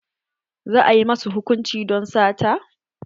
Za a yi ma su hukunci don sata?